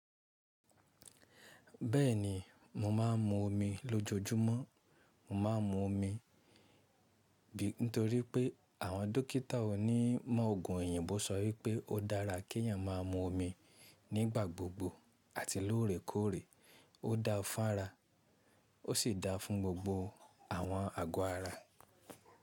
Bẹ́ẹ̀ni, mò ḿá ń mu omi lójojúmọ́. Mò ḿá ń mu omi nítorí pé àwọn dókítà onímọ̀ òògùn èyìnbo sọ wípé ó dára kí ènìyàn máa mu omi nígbà gbogbo àti lóòrèkóòrè. Ó dáa fún ara, ó sì dáa fún gbogbo àwọn àgọ́ ara.